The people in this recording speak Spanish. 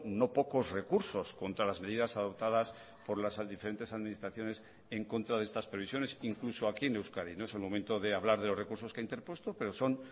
no pocos recursos contra las medidas adoptadas por las diferentes administraciones en contra de estas previsiones incluso aquí en euskadi no es el momento de hablar de los recursos que ha interpuesto pero son